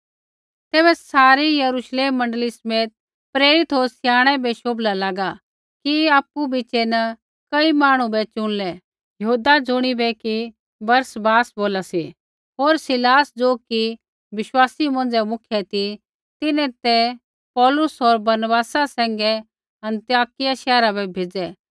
तैबै सारी यरुश्लेम मण्डली समेत प्रेरित होर स्याणै बै शोभला लागा कि आपु बिच़ै न कई मांहणु बै चुनलै यहूदा ज़ुणिबै कि बरसब्बास बोला सी होर सीलास ज़ो कि बिश्वासी मौंझ़ै मुख्य ती तिन्हैं ते पौलुस होर बरनबासा सैंघै अन्ताकिया शैहरा बै भेज़ै